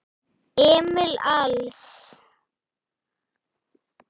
Emil Als.